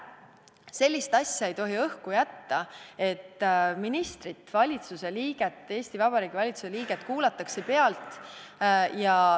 Sellist asja ei tohi õhku jätta, et ministrit, Eesti Vabariigi valitsuse liiget vahest kuulatakse pealt.